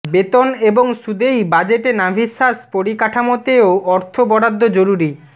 বেতন এবং সুদেই বাজেটে নাভিশ্বাস পরিকাঠামোতেও অর্থ বরাদ্দ জরুরি